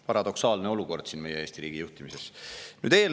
Paradoksaalne olukord meie Eesti riigi juhtimises!